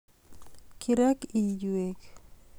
Kirek iywek